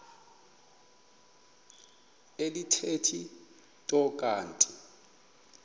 alithethi nto kanti